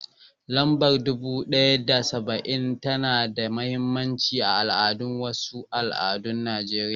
Lambar dubu ɗaya da saba'in tana da mahimmancin al'adu a wasu al'adun Najeriya.